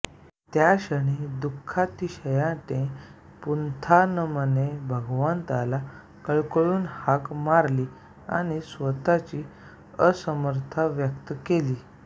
त्या क्षणी दुःखातिशयाने पुंथानमने भगवंताला कळवळून हाक मारली आणि स्वतःची असमर्थता व्यक्त केली